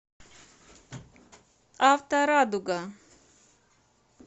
авторадуга